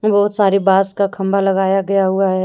बहुत सारे बांस का खंबा लगाया गया हुआ है।